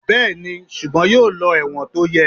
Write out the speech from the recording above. Bẹ́ẹ̀ni, ṣùgbọ́n yóò lọ ẹ̀wọ̀n tó yẹ.